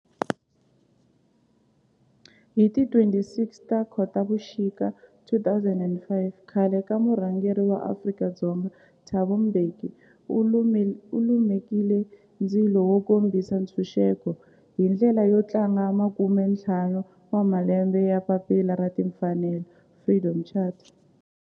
Hi ti 26 Khotavuxika 2005 khale ka murhangeri wa Afrika-Dzonga Thabo Mbeki u lumekile ndzilo wo kombisa ntshuxeko, hi ndlela yo tlangela makume-ntlhanu wa malembe ya papila ra timfanelo, Freedom Charter.